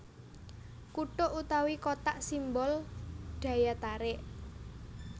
Kutuk utawi Kotak simbol daya tarik